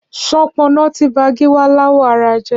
Ṣọpọnọ ti bà Giwa làwọ̀ àrà jẹ